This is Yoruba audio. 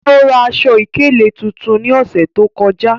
O ra aṣọ-ikele tuntun ni ọṣẹ to kọja.